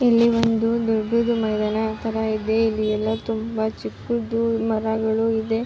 ಇಲ್ಲಿ ಒಂದು ದೊಡ್ಡದು ಮೈದಾನದ ತರ ಇದೆ ಇಲ್ಲಿ ಎಲ್ಲ ತುಂಬಾ ಚಿಕ್ಕದು ಮರಗಳು ಇದೆ.